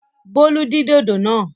Bólú dín dòdò náà!